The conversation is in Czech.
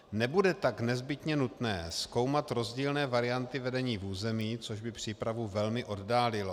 Nebude tak nezbytně nutné zkoumat rozdílné varianty vedení v území, což by přípravu velmi oddálilo.